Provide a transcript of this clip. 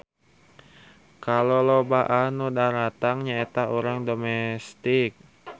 Kalolobaan nu daratang nya eta urang domestik.